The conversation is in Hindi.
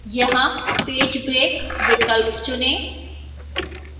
यहां page break विकल्प चुनें